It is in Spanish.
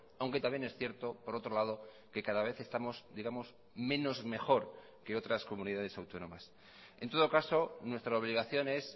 aunque también es cierto por otro lado que cada vez estamos digamos menos mejor que otras comunidades autónomas en todo caso nuestra obligación es